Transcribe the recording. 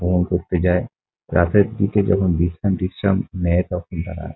Phone করতে যায় রাতের দিকে যখন বিছনা টিছনা করে তখন তারা।